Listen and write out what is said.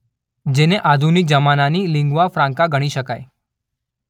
જેને આધુનિક જમાનાની લિન્ગ્વા ફ્રાન્કા ગણી શકાય.